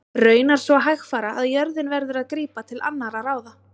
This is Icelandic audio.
Raunar svo hægfara að jörðin verður að grípa til annarra ráða.